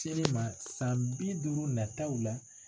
Selen ma san bi duuru nataw la